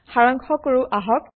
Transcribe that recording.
সাৰাংশ কৰো আহক